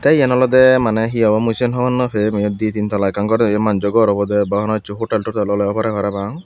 te yan olode maney he obo mui cian hobor nopem eyot di teen tala ekkan ghor eyan massu ghor obode bha hono hessu hotel totel ole oy pare parapang.